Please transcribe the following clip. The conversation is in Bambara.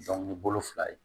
ni bolo fila ye